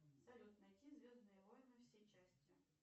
салют найти звездные войны все части